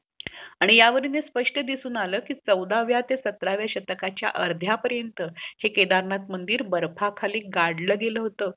आणि ह्या वरून सपष्ट दिसून आला की चौदव्या ते सतराव्या शतकाच अर्ध्या पर्यंत हे केदारनाथ मंदिर बर्फ खाली गाडल गेल होता